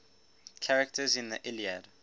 characters in the iliad